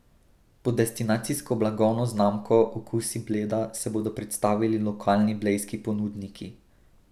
Pod destinacijsko blagovno znamko Okusi Bleda se bodo predstavili lokalni blejski ponudniki.